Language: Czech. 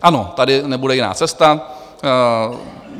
Ano, tady nebude jiná cesta.